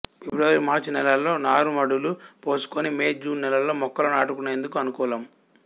ఫిబ్రవరి మార్చి నెలల్లో నారుమడులు పోసుకొని మే జూన్ నెలల్లో మొక్కలు నాటుకునేందుకు అనుకూలం